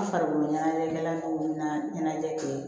N farikolo ɲɛnajɛw na ɲɛnajɛ kɛ